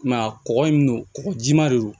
I m'a ye kɔgɔ in no kɔgɔjima de don